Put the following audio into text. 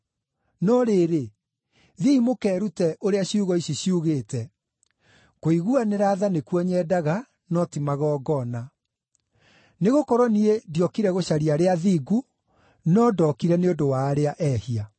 No rĩrĩ, thiĩi mũkeerute ũrĩa ciugo ici ciugĩte: ‘Kũiguanĩra tha nĩkuo nyendaga, no ti magongona.’ Nĩgũkorwo niĩ ndiokire gũcaria arĩa athingu, no ndokire nĩ ũndũ wa arĩa ehia.”